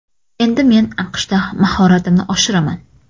Endi men AQShda mahoratimni oshiraman.